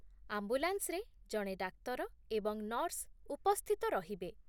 ଆମ୍ବୁଲାନ୍ସରେ ଜଣେ ଡାକ୍ତର ଏବଂ ନର୍ସ ଉପସ୍ଥିତ ରହିବେ।